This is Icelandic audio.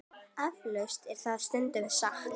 Eflaust er það stundum satt.